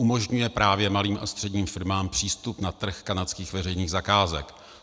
Umožňuje právě malým a středním firmám přístup na trh kanadských veřejných zakázek.